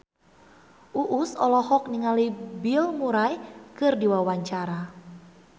Uus olohok ningali Bill Murray keur diwawancara